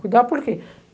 Cuidar por quê?